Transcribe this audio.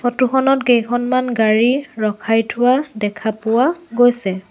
Photo খনত কেইখনমান গাড়ী ৰখাই থোৱা দেখা পোৱা গৈছে।